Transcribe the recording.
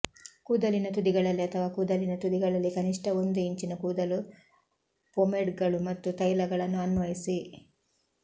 ಕೂದಲಿನ ತುದಿಗಳಲ್ಲಿ ಅಥವಾ ಕೂದಲಿನ ತುದಿಗಳಲ್ಲಿ ಕನಿಷ್ಠ ಒಂದು ಇಂಚಿನ ಕೂದಲು ಪೊಮೆಡ್ಗಳು ಮತ್ತು ತೈಲಗಳನ್ನು ಅನ್ವಯಿಸಿ